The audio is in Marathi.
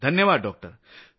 धन्यवाद डॉक्टर।